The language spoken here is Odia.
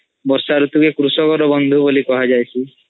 ବର୍ଷା ରୁତୁ କେ କୃଷକ ର ବନ୍ଧୁ ବୋଲି କୁହା ଯାଏସି